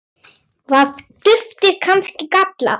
Var duftið kannski gallað?